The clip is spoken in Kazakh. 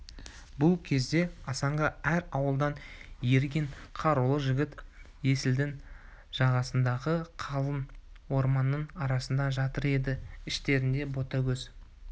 бұл кезде асанға әр ауылдан ерген қарулы жігіт есілдің жағасындағы қалың орманның арасында жатыр еді іштерінде ботагөз